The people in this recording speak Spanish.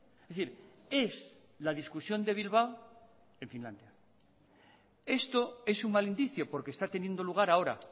es decir es la discusión de bilbao en finlandia esto es un mal indicio porque está teniendo lugar ahora